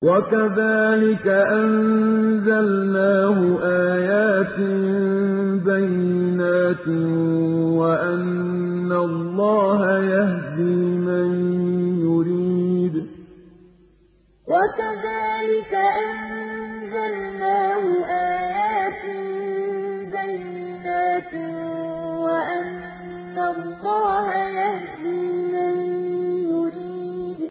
وَكَذَٰلِكَ أَنزَلْنَاهُ آيَاتٍ بَيِّنَاتٍ وَأَنَّ اللَّهَ يَهْدِي مَن يُرِيدُ وَكَذَٰلِكَ أَنزَلْنَاهُ آيَاتٍ بَيِّنَاتٍ وَأَنَّ اللَّهَ يَهْدِي مَن يُرِيدُ